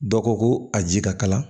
Dɔ ko ko a ji ka kala